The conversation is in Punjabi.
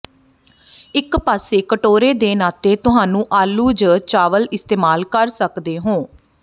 ਇੱਕ ਪਾਸੇ ਕਟੋਰੇ ਦੇ ਨਾਤੇ ਤੁਹਾਨੂੰ ਆਲੂ ਜ ਚਾਵਲ ਇਸਤੇਮਾਲ ਕਰ ਸਕਦੇ ਹੋ